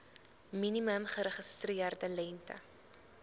minimum geregistreerde lengte